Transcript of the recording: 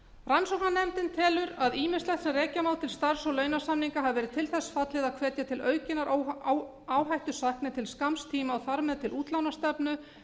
rannsóknarnefndin telur að ýmislegt sem rekja má til starfs og launasamninga hafi verið til þess fallið að hvetja til aukinnar áhættusækni til skamms tíma og þar með til útlánastefnu